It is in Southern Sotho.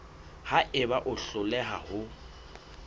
ha eba o hloleha ho